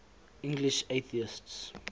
english atheists